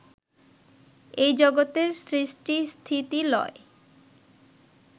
এই জগতের সৃষ্টি স্থিতি লয়